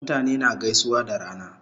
Mutane na gaisuwa da rana